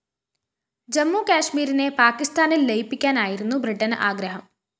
ജമ്മുകാശ്മീരിനെ പാക്കിസ്ഥാനില്‍ ലയിപ്പിക്കാനായിരുന്നു ബ്രിട്ടന് ആഗ്രഹം